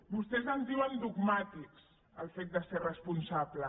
vostès en diuen dogmàtic del fet de ser responsable